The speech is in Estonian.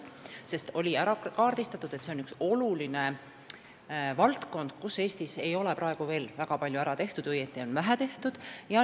Kaardistamise käigus selgus, et see on üks oluline valdkond, kus Eestis ei ole veel väga palju ära tehtud, õieti on vähe tehtud.